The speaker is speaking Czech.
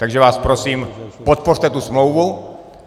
Takže vás prosím, podpořte tu smlouvu.